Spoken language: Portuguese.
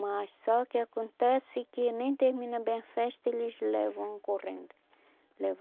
Mas só que acontece que nem termina bem a festa, eles levam correndo levam.